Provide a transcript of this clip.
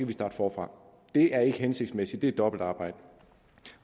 vi starte forfra det er ikke hensigtsmæssigt det er dobbeltarbejde